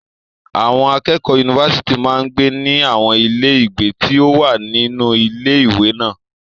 Àwọn akẹ́kọ̀ọ́ yunifásítì máa ń gbé ní àwọn ilé ìgbé tí ó wà nínú ilé ìwé náà.